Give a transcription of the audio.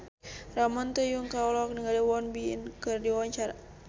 Ramon T. Yungka olohok ningali Won Bin keur diwawancara